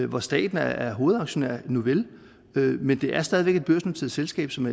hvor staten er er hovedaktionær nouvel men det er stadig væk et børsnoteret selskab som